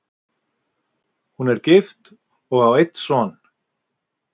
Hún er gift og á einn son.